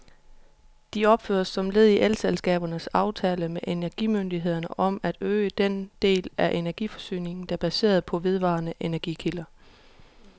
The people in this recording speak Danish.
De opføres som led i elselskabernes aftale med energimyndighederne om at øge den del af energiforsyningen, der baserer sig på vedvarende energikilder.